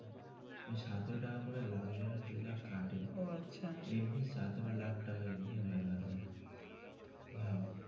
ওই সতেরো টাকা লাখ জনের কাটে এমনি সতেরো লাখ টাকা এমনি হয়ে গেলো ভাব.